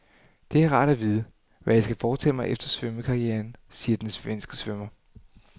Det er rart at vide, hvad jeg skal foretage mig efter svømmekarrieren, siger den svenske svømmer.